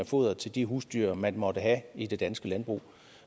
foder til de husdyr man måtte have i det danske landbrug